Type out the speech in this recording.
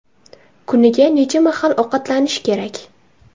Kuniga necha mahal ovqatlanish kerak?.